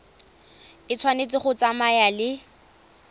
e tshwanetse go tsamaya le